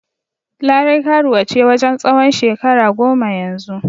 Larai karuwa ce wajen tsawon shekara goma yanzu.